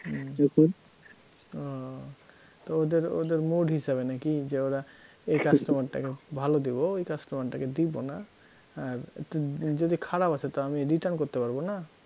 ও তো ওদের ওদের mood হিসেবে নাকি যে ওরা এই customer টাকে ভালো দিব ওই customer টাকে দিব না, আর য যদি খারাপ আসে তো আমি return করতে পারব না?